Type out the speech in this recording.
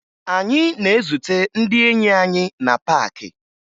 Anyị na-ezute ndị enyi anyị na paakị